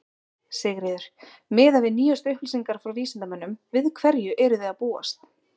Sigríður: Miðað við nýjust upplýsingar frá vísindamönnum, við hverju eruð þið að búast?